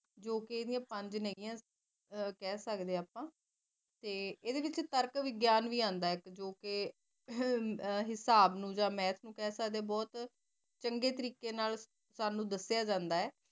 ਜੋ ਕੀ ਆਯ੍ਨ੍ਦਿਯਾ ਪੰਜ ਨਾਈ ਆ ਕਹ ਸਕ ਦੇ ਆ ਅਪਾ ਇਹਦੇ ਵਿੱਚ ਤਰਕ ਵਿਗਿਆਨ ਵੀ ਆਂਦਾ ਜੋ ਅਹ ਹਿਸਾਬ ਨੂ ਯਾ math ਨੂ ਕਹ ਸਕ ਦੇ ਬਹੁਤ ਚੰਗੀ ਤਾਰੀਕੇ ਨਾਲ ਸਾਨੂ ਦੱਸਿਆ ਜਾਂਦਾ